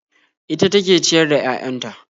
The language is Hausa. Ita take ciyar da 'ya'yan ta